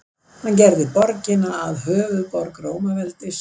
Hann gerði borgina að höfuðborg Rómaveldis.